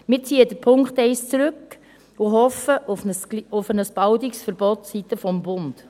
Wir ziehen den Punkt 1 zurück und hoffen auf ein baldiges Verbot seitens des Bundes.